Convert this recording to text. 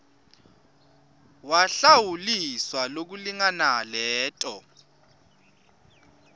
wahlawuliswa lokulingana leto